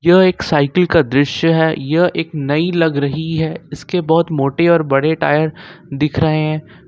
यह एक साइकिल का दृश्य है यह एक नई लग रही है इसके बहुत मोटे और बड़े टायर दिख रहे हैं।